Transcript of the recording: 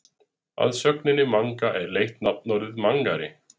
Af sögninni manga er leitt nafnorðið mangari.